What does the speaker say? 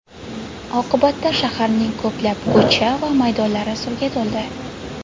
Oqibatda shaharning ko‘plab ko‘cha va maydonlari suvga to‘ldi.